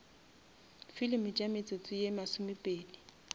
filimi tša metsotso ye masomepedi